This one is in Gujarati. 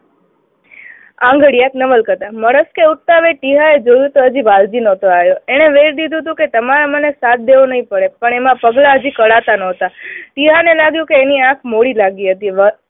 આંગળીએ નવલકથા, ઉઠતા વેંત ટીહાએ જોયું તો હજી વાલજી નહતો આવ્યો. એને વેણ દીધું હતું કે તમારે મને સાદ દેવો નહી પડે. પણ એના પગલા હજી કઢાતા નહોતા. ટીહાને લાગ્યું કે એની આંખ મોડી લાગી હતી.